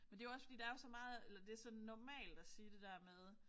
Men det jo også fordi der er jo så meget eller det så normalt at sige det der med